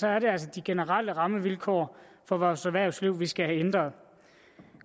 er det altså de generelle rammevilkår for vores erhvervsliv vi skal have ændret nu